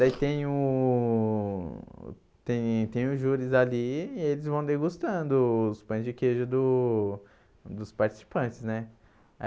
Daí tem o tem tem os júris ali e eles vão degustando os pães de queijo do dos participantes né.